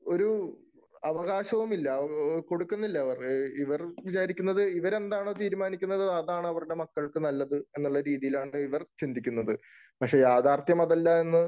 ഒരു അവകാശവും ഇല്ല. കൊടുക്കുന്നില്ല അവര്. ഇവർ വിചാരിക്കുന്നത് ഇവരെന്താണോ തീരുമാനിക്കുന്നത് അതാണ് അവരുടെ മക്കൾക്ക് നല്ലത് എന്നുള്ള രീതിയിലാണ് ഇവർ ചിന്തിക്കുന്നത്. പക്ഷെ യാഥാർത്ഥ്യം അതല്ല എന്ന്